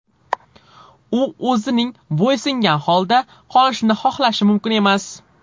U o‘zining bo‘ysungan holda qolishini xohlashi mumkin emas.